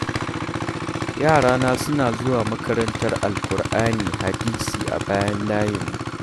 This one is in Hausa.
Yarana suna zuwa makarantar Alkur'ani Hadisi a bayan layinmu.